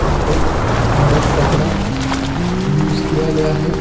ऊपर वाइट कपड़ा यूज़ किया गया है।